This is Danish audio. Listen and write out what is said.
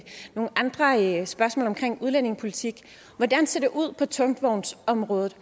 nogle andre spørgsmål omkring udlændingepolitik hvordan ser det ud på tungvognsområdet